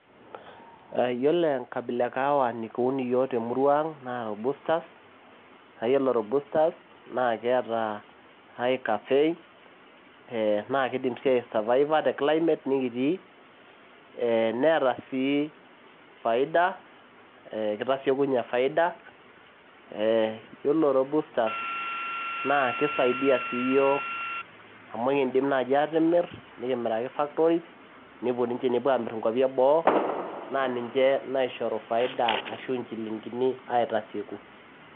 Iyiolo enkabila e kahawa nikingira iyiok aun te murua ang naa rubusters, naa iyiolo rubusters neata high caffein naa keidim sii aisurvivor te climate nikitii. Neeta sii faida keitasieku faida. Ee iyiolo rubusters naa keisaidia sii iyiok amu ekindim nai aatimir, niki miraki factories nepuo ninche amir too inkwapi eboo naa ninche naishoru faida ashu inchiling'ini aitasieku.